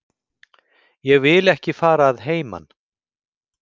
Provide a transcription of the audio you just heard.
Ég vildi ekki fara að heiman.